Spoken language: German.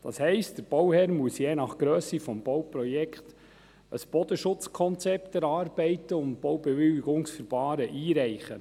Das heisst, der Bauherr muss je nach Grösse des Bauprojekts ein Bodenschutzkonzept erarbeiten und ein Baubewilligungsverfahren einreichen.